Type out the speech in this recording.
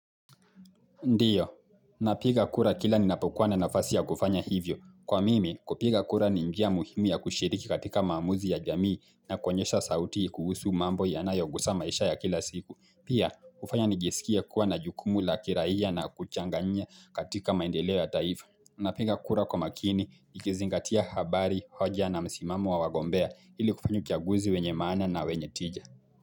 Ndio, napiga kura kila ninapokuwa na nafasi ya kufanya hivyo. Kwa mimi, kupiga kura ni njia muhimu ya kushiriki katika maamuzi ya jamii na kuonyesha sauti kuhusu mambo yanayogusa maisha ya kila siku. Pia, hufanya nijisikie kuwa na jukumu la kiraia na kuchanganya katika maendeleo ya taifa. Napiga kura kwa makini, nikizingatia habari, hoja na msimamo wa wagombea ili kufanya uchaguzi wenye maana na wenye tija.